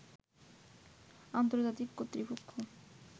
আন্তর্জাতিক কর্তৃপক্ষ